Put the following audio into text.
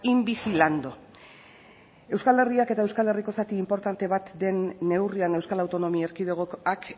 in vigilando euskal herriak eta euskal herriko zati inportante bat den neurrian euskal autonomia erkidegoak